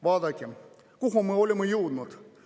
Vaadakem, kuhu me oleme jõudnud.